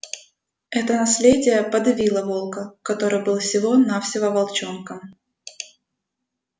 это наследие подавило волка который был всего навсего волчонком